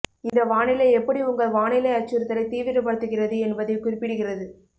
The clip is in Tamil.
இந்த வானிலை எப்படி உங்கள் வானிலை அச்சுறுத்தலை தீவிரப்படுத்துகிறது என்பதைக் குறிப்பிடுகிறது